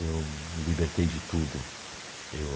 Eu me libertei de tudo. Eu